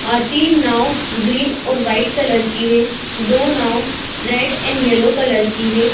आरती टिन नाव ग्रीन और वाइट कलर की है दो नाव रेड एंड येलो कलर की है।